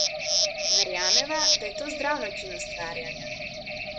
Verjameva, da je to zdrav način ustvarjanja.